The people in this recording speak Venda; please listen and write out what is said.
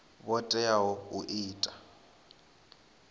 vhafhio vho teaho u ita